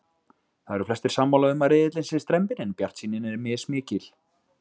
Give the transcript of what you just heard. Það eru flestir sammála um að riðillinn sé strembinn en bjartsýnin er mismikil.